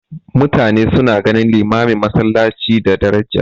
Mutane suna ganin limamin masallaci da daraja.